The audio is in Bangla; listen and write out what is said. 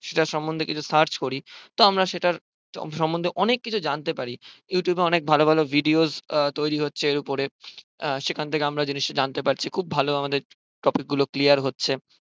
সেটার সম্বন্ধেই কিছু search করি তো আমরা সেটার সম্মন্ধে আমরা অনেক কিছু জানতে পারি you tube এ অনেক ভালো ভালো videos তৈরী হচ্ছে উপরে সেখান থেকে আমরা জিনিসটা জানতে পারছি খুব ভালো আমাদের topic গুলো clear হচ্ছে